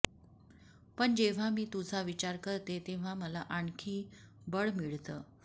पण जेव्हा मी तुझा विचार करते तेव्हा मला आणखी बळ मिळतं